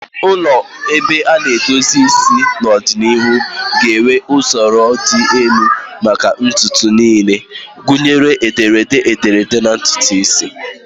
Ụlọ ebe a na-edozi isi n'ọdịnihu ga-enwe usoro dị elu maka ụdị ntutu niile, gụnyere ederede ederede na ntutu isi.